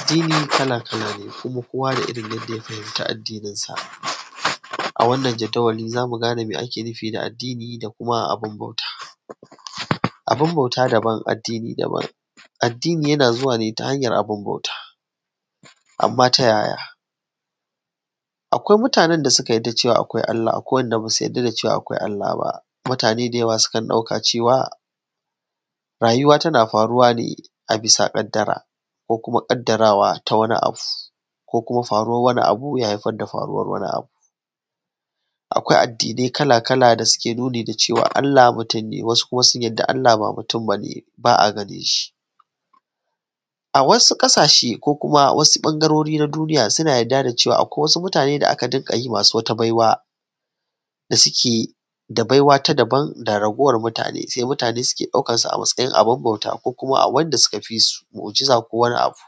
Addini kala kala kowa da irrin yadda fahimta, adninsa a wannan jadawali zamu gane me ake nufi da addini da kuma abun bauta, abun bauta daban addini daban, addini yana zuwa ne ta hanyan abun bauta amma ta yaya. Akwai mutanen da suka yadda cewa akwai Allah akwai kuma wayanda basu yarda cewa akwai Allah ba, mutane da yawa suna dauka cewa rayuwa tana faruwa ne bisa kaddara, ko kuma kaddarawa ta wani abu ko kuma faruwan wani abu ya haifar da wani abu. Akwai addinai kala kala da suke nuni da cewa Allah mutun ne, wasu kuma sun yadda Allah ba mutun bane, ba’a ganinshi. A wasu kasashe ko kuma wasu bangarori na duniya suna yarda da cewan akwai wasu mutane da aka dinka yi masu wata baiwa da suke da baiwa ta daban sai wasu mutane ke daukan su a matsayin abun bauta ko kuma wanda suka fisu mu’ujiza ko wani abu.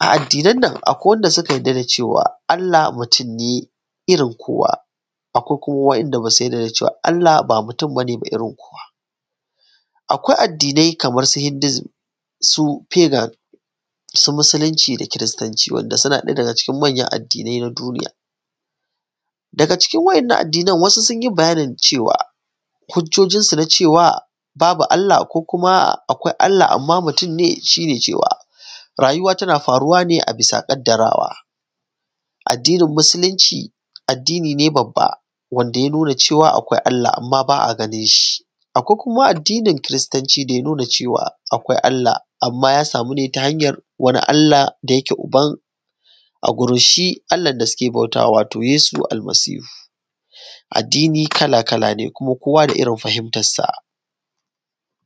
A addinan nan akwai wanda suka yadda da cewan Allah wai mutun ne irrin kowa akwai kuma wa'inda basu yarda da cewan Allah ba mutun ne irrin kowa ba. Akwai addinai kaman irrin su hidusm, su pagan, su musulunci da kiristanci wanda suna ɗaya daga cikin manyan addinai na duniya. Daga cikin wa 'yannan addinan wasu sunyi bayanin cewa, hujjojin sun na cewa babu Allah ko kuma akwai Allah amma mutunne sune cewa rayuwa tana faruwa ne a bisa kaddarawa. Addinin musulunci addini ne babba wanda ϳa nuna cewa akwai Allah amma ba’a ganinshi. kuma addinin kiristanci da ya nuna cewa akwai Allah amma ϳa samu ne ta hanyan wani Allah da yake Uban agurin shi Allahn da suke bautama wato shi Yesu Almasihu. Addini kala kala ne kuma kowa da irrin fahimtarsa.